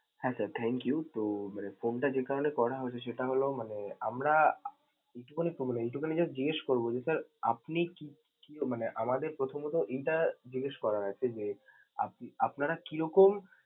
হ্যা sir, thank you তো মানে phone টা যে কারণে করা হয়েছে সেটা হলো মানে, আমরা মানে এইটুকুনই জিজ্ঞেস করব যে sir আপনি কি~ কি মানে আমাদের প্রথমত এটা জিজ্ঞেস করার আছে যে আপ~ আপনারা কিরকম।